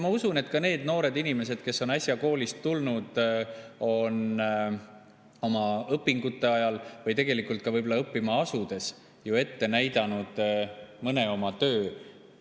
Ma usun, et ka need noored inimesed, kes on äsja koolist tulnud, on oma õpingute ajal või ka võib-olla õppima asudes ju ette näidanud mõne oma töö.